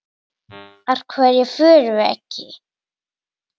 Af hverju fórum við ekki?